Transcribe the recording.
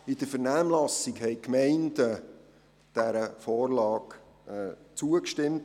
In der Vernehmlassung haben die Gemeinden dieser Vorlage einhellig zugestimmt.